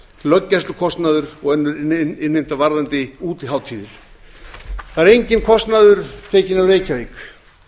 löggæslukostnaður og önnur innheimta varðandi útihátíðir það er enginn kostnaður tekinn af reykjavík